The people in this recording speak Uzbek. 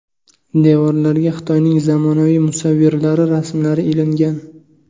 Devorlarga Xitoyning zamonaviy musavvirlari rasmlari ilingan.